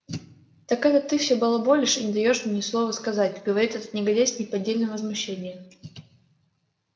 так это ты всё балаболишь и не даёшь мне ни слова сказать говорит этот негодяй с неподдельным возмущением